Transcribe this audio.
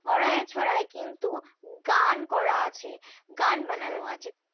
হরায় ছড়ায় কিন্তু গান করা আছে, গান বানানো আছে।